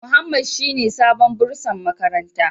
Muhammad shine sabon bursar makaranta.